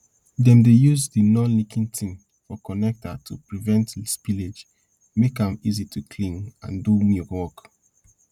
dem dey yuz de nonleaking tin for connecta to prevent spillage make am easy to clean and do milk work